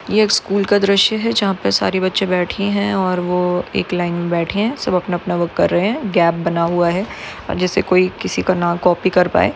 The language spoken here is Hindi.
यह एक स्कूल का दृश्य है। जहा पे सारे बच्ची बैठी है। और वो अपनी लाइन मे बेठे है। सब अपना अपना वर्क कर रहे है। और गॅप बना हुआ है। जेसे कोई किसी का ना कॉपी कर पाई।